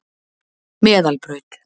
Meðalbraut